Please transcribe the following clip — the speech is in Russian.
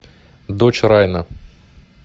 дочь райана